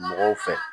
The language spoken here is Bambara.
Mɔgɔw fɛ